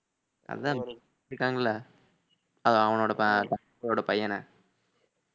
அதான் நிறுத்திட்டாங்கல அது அவனோட